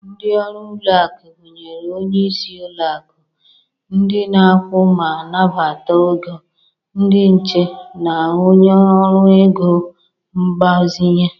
Ndị ọrụ n'ụlọakụ gụnyere onye isi ụlọakụ, ndị na-akwụ ma nabatakwa ego, ndị nche, na onye ọrụ ego mgbazinye.